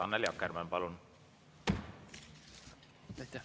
Annely Akkermann, palun!